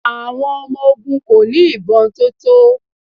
Àwọn ọmọ ogun kò ní ìbọn tó tó.